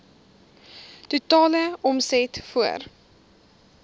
totale omset voor